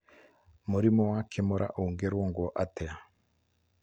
Mũrimũ wa Kimura ũngĩrũngwo atĩa?